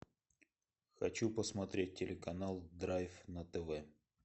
хочу посмотреть телеканал драйв на тв